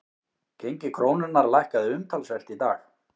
Gengi krónunnar lækkaði umtalsvert í dag